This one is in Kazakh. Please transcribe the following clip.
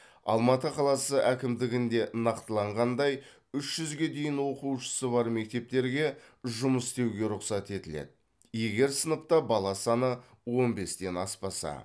алматы қаласы әкімдігінде нақтыланғандай үш жүзге дейін оқушысы бар мектептерге жұмыс істеуге рұқсат етіледі егер сыныпта бала саны он бестен аспаса